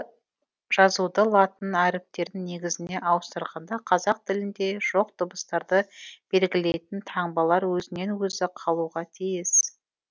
жазуды латын әріптері негізіне ауыстырғанда қазақ тілінде жоқ дыбыстарды белгілейтін таңбалар өзінен өзі қалуға тиіс